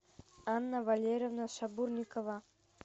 анна валерьевна шабурникова